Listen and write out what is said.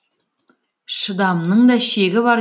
шыдамның да шегі бар